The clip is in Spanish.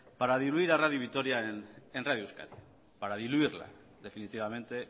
para diluir a radio vitoria en radio euskadi para diluirla definitivamente